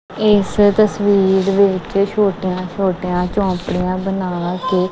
ਇਸ ਤਸਵੀਰ ਵਿੱਚ ਛੋਟੀਆਂ ਛੋਟੀਆਂ ਝੋਪੜੀਆਂ ਬਣਾ ਕੇ।